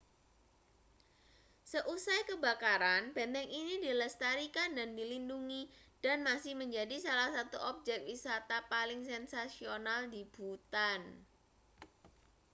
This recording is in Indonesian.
seusai kebakaran benteng ini dilestarikan dan dilindungi dan masih menjadi salah satu objek wisata paling sensasional di bhutan